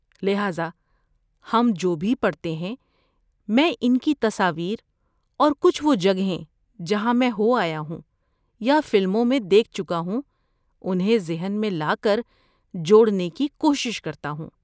لہذا ہم جو بھی پڑھتے ہیں میں ان کی تصاویر اور کچھ وہ جگہیں جہاں میں ہو آیا ہوں یا فلموں میں دیکھ چکا ہوں انہیں ذہن میں لا کر جوڑنے کی کوشش کرتا ہوں۔